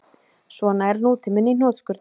Svona er nútíminn í hnotskurn